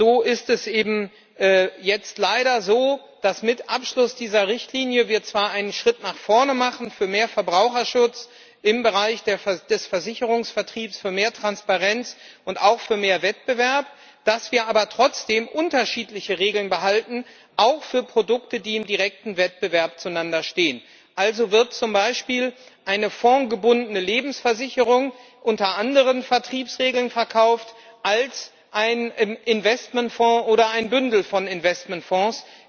So ist es eben jetzt leider so, dass wir mit Abschluss dieser Richtlinie zwar einen Schritt nach vorne machen für mehr Verbraucherschutz im Bereich des Versicherungsvertriebs, für mehr Transparenz und auch für mehr Wettbewerb, dass wir aber trotzdem unterschiedliche Regeln behalten, auch für Produkte, die im direkten Wettbewerb zueinander stehen. Also wird zum Beispiel eine formgebundene Lebensversicherung unter anderen Vertriebsregeln verkauft als ein Investmentfonds oder ein Bündel von Investmentfonds.